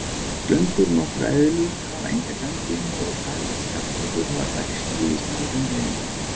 Slöngur og nokkrar eðlur hafa enga ganglimi og sæskjaldbökur hafa bægsli í stað ganglima.